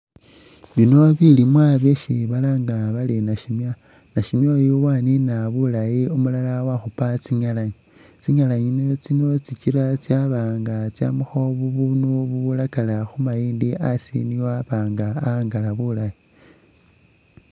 Biino bilimwa byesi balanga bari nasimya, nasimya uyu wanina bulaayi umulala wakhupa tsingalanyi, tsingalanyi itsino tsikila tsaba nga tsamakho ubundu ubulakala asi khumayindi ne waaba nga awangala bulaayi.